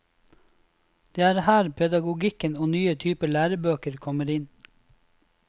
Det er her pedagogikken og nye typer lærebøker kommer inn.